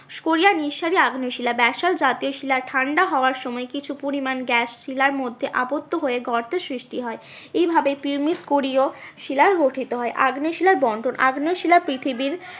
স্ক্রোড়িয়া নিঃসারী আগ্নেয় শিলা ব্যাসল্ট জাতীয় শিলা ঠান্ডা হওয়ার সময় কিছু পরিমান গ্যাস শিলার মধ্যে অবোধ্য হয়ে গর্তের সৃষ্টি হয় এইভাবে শিলার গঠিত হয়। আগ্নেয় শিলার বন্ঠন আগ্নেয় শিলা পৃথিবীর